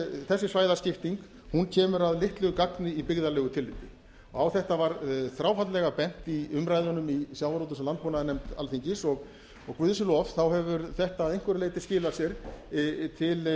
þessi svæðaskipting kemur að litlu gagni í byggðalegu tilliti á þetta var þráfaldlega bent í umræðunum í sjávarútvegs og landbúnaðarnefnd alþingis og guði sé lof hefur þetta að einhverju leyti skilað sér til